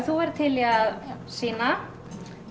þú ert til í að sýna